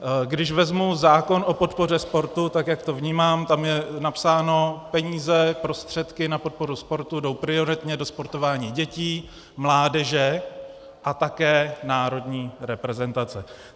Když vezmu zákon o podpoře sportu, tak jak to vnímám, tam je napsáno - peníze, prostředky na podporu sportu jdou prioritně do sportování dětí, mládeže a také národní reprezentace.